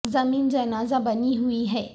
زمیں جنازہ بنی ہوئی ہے